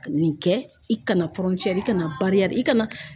Nin kɛ i kana i kana i kana